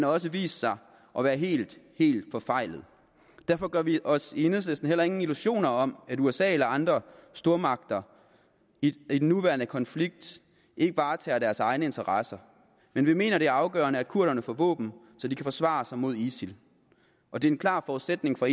også vist sig at være helt helt forfejlet derfor gør vi os i enhedslisten heller ingen illusioner om at usa eller andre stormagter i den nuværende konflikt ikke varetager deres egne interesser men vi mener det er afgørende at kurderne får våben så de kan forsvare sig mod isil og det er en klar forudsætning for